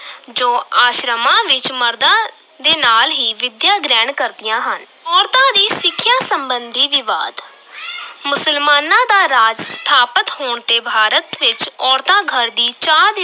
ਜੋ ਆਸ਼ਰਮਾਂ ਵਿੱਚ ਮਰਦਾਂ ਦੇ ਨਾਲ ਹੀ ਵਿੱਦਿਆ ਗ੍ਰਹਿਣ ਕਰਦੀਆਂ ਹਨ, ਔਰਤਾਂ ਦੀ ਸਿੱਖਿਆ ਸੰਬੰਧੀ ਵਿਵਾਦ ਮੁਸਲਮਾਨਾਂ ਦਾ ਰਾਜ ਸਥਾਪਤ ਹੋਣ ਤੇ ਭਾਰਤ ਵਿੱਚ ਔਰਤਾਂ ਘਰ ਦੀ ਚਾਰ